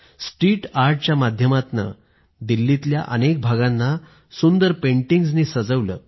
street आर्टच्या माध्यमातून दिल्लीच्या अनेक भागांना सुंदर पेंटिंग्जनी सजवलं